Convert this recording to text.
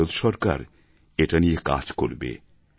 ভারত সরকার এটা নিয়ে কাজ করবে